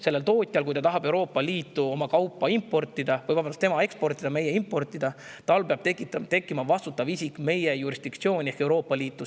Kui see tootja tahab Euroopa Liitu oma kaupa eksportida, meie seda importida, siis peab tal tekkima vastutav isik meie jurisdiktsiooni ehk Euroopa Liitu.